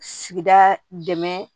Sigida dɛmɛ